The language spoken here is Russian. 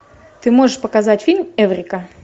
ты можешь показать фильм эврика